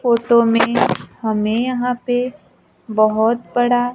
photo में हमें यहां पे बहोत बड़ा--